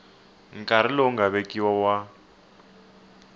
nkarhi lowu nga vekiwa wa